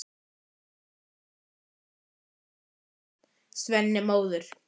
Þetta er tilbúið, tilkynnti Svenni móður.